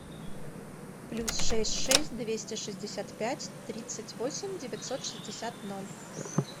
плюс шесть шесть двести шестьдесят пять тридцать восемь девятьсот шестьдесят ноль